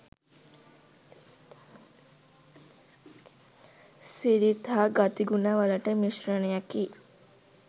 සිරිත් හා ගතිගුණවල මිශ්‍රණයකි.